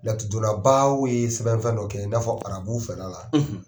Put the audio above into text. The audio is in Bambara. Laturudɔnbaw ye sɛbɛnfɛn dɔ kɛ, i n'a fɔ arabu fɛla la,